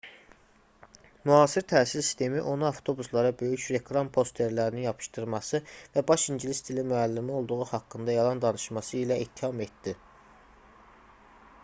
müasir təhsil sistemi onu avtobuslara böyük reklam posterlərini yapışdırması və baş i̇ngilis dili müəllimi olduğu haqqında yalan danışması ilə ittiham etdi